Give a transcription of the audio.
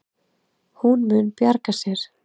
Hún mun bjarga sér.